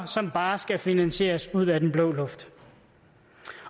som bare skal finansieres ud af den blå luft